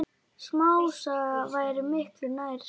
Smásaga væri miklu nær sanni.